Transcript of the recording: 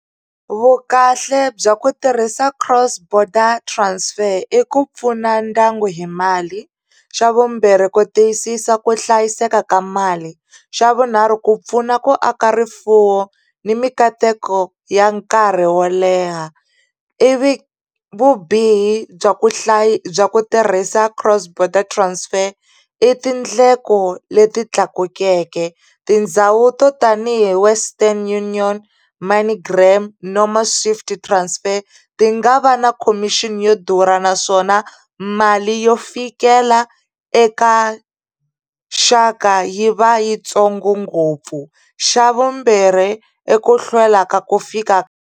Vukahle bya ku tirhisa cross border transfer i ku pfuna ndyangu hi mali xa vumbirhi ku tiyisisa ku hlayiseka ka mali xa vunharhu ku pfuna ku aka rifuwo ni mikateko ya nkarhi wo leha ivi vubihi bya ku bya ku tirhisa cross border transfer i tindleko leti tlakukeke tindhawu to tanihi Western Union Money gram swift transfer ti nga va na khomixini yo durha naswona mali yo fikela eka xaka yi va yitsongo ngopfu xa vumbirhi eku i hlwela ku fika.